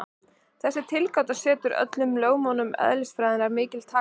Þessi tilgáta setur öllum lögmálum eðlisfræðinnar mikil takmörk.